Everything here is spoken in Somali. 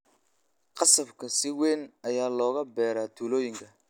Qasabka si weyn ayaa looga beeraa tuulooyinka.